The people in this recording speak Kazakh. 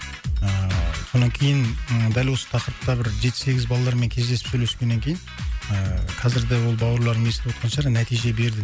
ыыы сонан кейін ы дәл осы тақырыпта бір жеті сегіз балалармен кездесіп сөйлескеннен кейін ыыы қазірде ол бауырларым естіп отқан шығар нәтиже берді